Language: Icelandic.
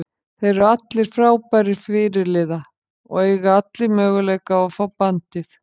Þeir eru allir frábærir fyrirliða og eiga allir möguleika á að fá bandið.